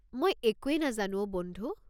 মই একোয়ে নাজানো অ' বন্ধু।